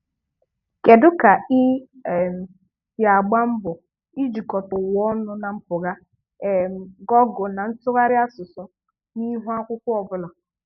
Kedu ka ị um si agba mbọ ijikọta ụwa ọnụ na mpụga um Gọọgụlụ na ntụgharị asụsụ n'ihu akwụkwọ ọbụla